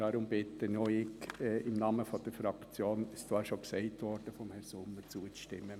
Deswegen bitte auch ich im Namen der Fraktion – wie dies von Herrn Sommern gesagt wurde – zuzustimmen.